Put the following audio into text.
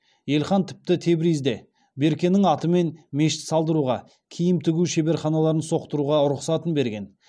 елхан тіпті тебризде беркенің атымен мешіт салдыруға киім тігу шеберханаларын соқтыруға рұқсатын берген